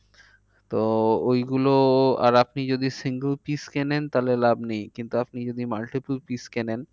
তো ওই গুলো আর আপনি যদি single piece কেনেন তাহলে লাভ নেই। কিন্তু আপনি যদি multiple piece কেনেন